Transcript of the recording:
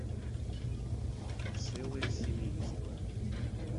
целое семейство